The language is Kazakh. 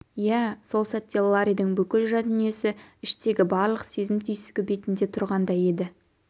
иә сол сәтте ларридің бүкіл жан дүниесі іштегі барлық сезім-түйсігі бетінде тұрғандай еді